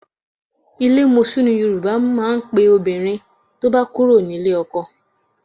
Ilé mosú ni Yòrùbá ń pe obìnrin tó bá kúrò nílé ọkọ